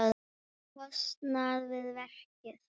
kostnað við verkið.